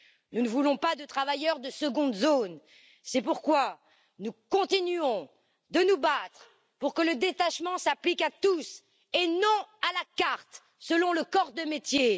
Nous ne voulons pas de travailleurs de seconde zone, c'est pourquoi nous continuons de nous battre pour que le détachement s'applique à tous et non à la carte selon le corps de métier.